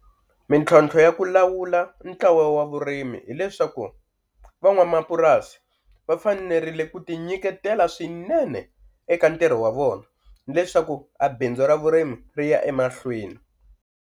Mintlhontlho ya ku lawula ntlawa wa vurimi hileswaku van'wamapurasi va fanerile ku ti nyiketela swinene eka ntirho wa vona leswaku a bindzu ra vurimi ri ya emahlweni.